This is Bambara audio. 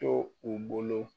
To u bolo